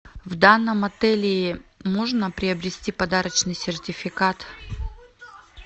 в данном отеле можно приобрести подарочный сертификат